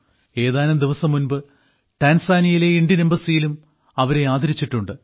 ഏതാനും ദിവസം മുമ്പ് ടാൻസാനിയയിലെ ഇന്ത്യൻ എംബസിയിലും അവരെ ആദരിച്ചിട്ടുണ്ട്